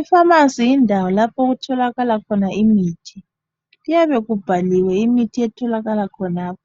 Ifamasi yindawo lapha okutholakala khona imithi. Kuyabe kubhaliwe imithi etholakala khonapho.